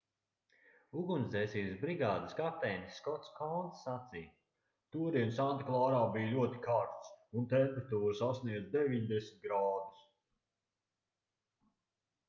ugunsdzēsības brigādes kapteinis skots kouns sacīja todien santa klārā bija ļoti karsts un temperatūra sasniedza 90 grādus